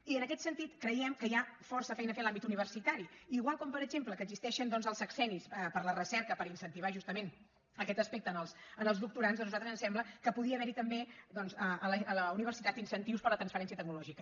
i en aquest sentit creiem que hi ha força feina a fer en l’àmbit universitari igual com per exemple existeixen els sexennis per la recerca per incentivar justament aquest aspecte en els doctorands doncs a nosaltres ens sembla que podia haver hi també a la universitat incentius per a la transferència tecnològica